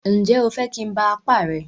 Ǹjẹ́ o fẹ́ kí n ba apá rẹ?